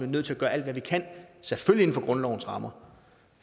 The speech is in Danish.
nødt til at gøre alt hvad vi kan selvfølgelig inden for grundlovens rammer